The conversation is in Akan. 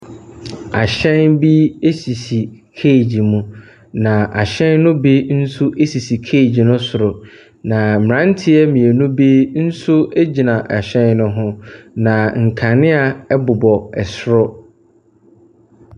Ahyɛn bi esisi cage mu. Na ahyɛn no bi nso esisi cage no soro. Na mmaaranteɛ mmienu bi nso egyina ɛhyɛn no ho. Na nkanea ɛbobɔ ɛsoro.